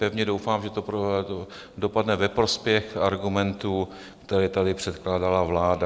Pevně doufám, že to dopadne ve prospěch argumentů, které tady předkládala vláda.